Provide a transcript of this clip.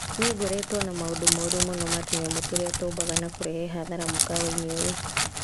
Nĩ ngoretwo na maũndũ moru mũno na tũnyamũ tũrĩa tũmbaga na kũrehe hathara mũkawa-inĩ ũyũ.